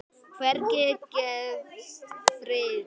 Hvergi gefst friður.